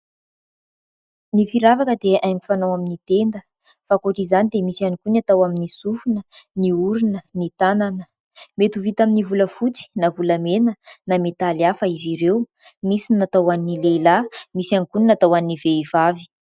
Ny firavaka dia haingo fanao amin'ny tenda, fa ankoatr'izany dia misy ihany koa ny atao amin'ny sofina, ny orona, ny tanana ; mety ho vita amin'ny volafotsy na volamena na metaly hafa izy ireo. Misy ny atao hoan'ny lehilahy, misy ihany koa ny atao hoan'ny vehivavy.